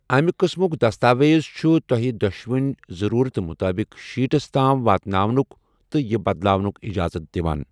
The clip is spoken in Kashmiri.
امہِ قۭسمُک دستاویز چھُ تۄہہِ دۄشوٕنی ضرورتہٕ مُطٲبِق شیٹس تام واتناونکُ تہٕ یہِ بدلاونُک اِجازت دِوان ۔